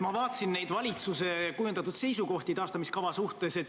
Ma vaatasin valitsuse kujundatud seisukohti taastamiskava suhtes.